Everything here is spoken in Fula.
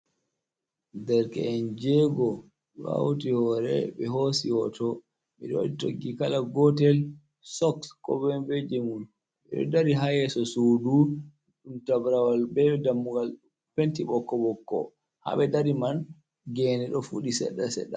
Derke’en jego ɗo hauti hore ɓe hosi hoto, ɓiɗo waɗi toggi kala gotel, sock ko moi be jemum, ɓe ɗo dari ha yeso sudu ɗum tabrawal bee dammugal penti ɓokko-ɓokko, haɓe dari man gene ɗo fuɗi seɗɗa seɗɗa.